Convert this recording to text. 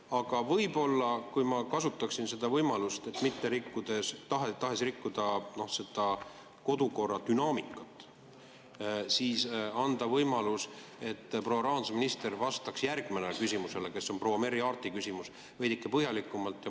Aga võib-olla ma saaksin kasutada võimalust, et mitte rikkuda kodukorra dünaamikat, anda proua rahandusministrile võimaluse vastata järgmisele küsimusele, mis on proua Merry Aarti küsimus, veidike põhjalikumalt?